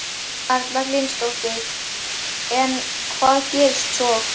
Erla Hlynsdóttir: En hvað gerðist svo?